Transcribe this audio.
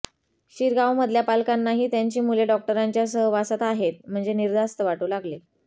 शिरगावमधल्या पालकांनाही त्यांची मुले डॉक्टरांच्या सहवासात आहेत म्हणजे निर्धास्त वाटू लागले